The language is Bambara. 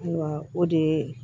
Ayiwa o de